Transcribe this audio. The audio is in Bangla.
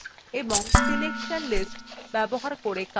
fill tools এবং selection lists ব্যবহার করে কাজ দ্রুত করা